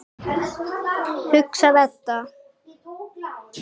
hugsar Edda.